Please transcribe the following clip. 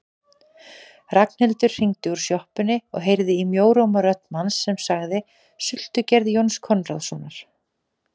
Ragnhildur hringdi úr sjoppunni og heyrði í mjóróma rödd manns sem sagði: Sultugerð Jóns Konráðssonar